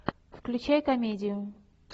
включай комедию